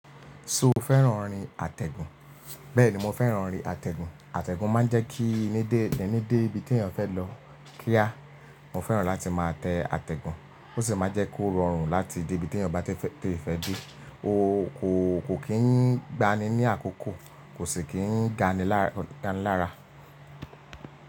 So o fẹ́ràn orin àtẹ̀gùn? Bẹ́ẹ̀ni mo fẹ́ràn orin àtẹ̀gùn. Àtẹ̀gùn máa ń jẹ́ kí ẹni dé ibi tí èèyàn fẹ́ lọ. Kíá, mo fẹ́ràn láti máa tẹ àtẹ̀gùn. Ó sì máa jẹ́ kó rọrùn láti dé ibi tí èèyàn bá tètè, te fẹ́ dé. Ó kò kì í gbani ní àkókò, kò sì kí ń ganilára.